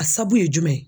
A sabu ye jumɛn ye